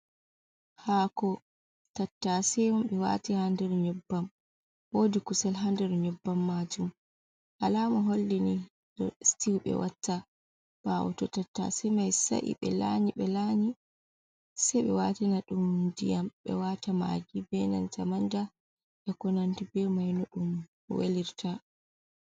Haako tattase on ɓe waati haa nder nyebbam. Woodi kusel haa nder nyebbam maajum, alaama holli ni ɗo stiw ɓe watta. Ɓaawo to tattase mai sa'i ɓe laanyi ɓe laanyi, se ɓe waatina ɗum ndiyam, ɓe waata magi be nanta manda, be ko nandi be mai no ɗum welirta.